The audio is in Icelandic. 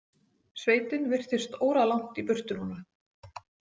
Sveitin virtist óralangt í burtu núna.